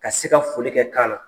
Ka se ka foli kɛ kan na .